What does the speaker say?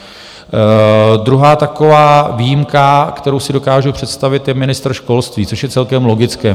Druhá taková výjimka, kterou si dokážu představit, je ministr školství, což je celkem logické.